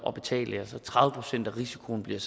at betale tredive procent af risikoen bliver